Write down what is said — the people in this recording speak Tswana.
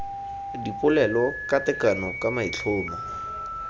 dipolelo ka tekano ka maitlhomo